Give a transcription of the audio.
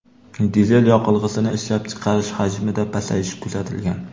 Dizel yoqilg‘isini ishlab chiqarish hajmida pasayish kuzatilgan.